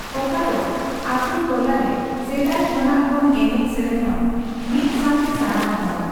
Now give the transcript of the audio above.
ᱚᱠᱟ ᱫᱚ ᱟᱛᱩᱼᱴᱚᱞᱟ ᱨᱮ ᱥᱮᱫᱟᱭ ᱠᱷᱚᱱᱟᱜ ᱵᱚᱱ ᱮᱱᱮᱡᱼᱥᱮᱨᱮᱧᱚᱜ, ᱢᱤᱫ ᱥᱟᱣᱛᱮ ᱥᱟᱱᱟᱢ ᱦᱚᱲ᱾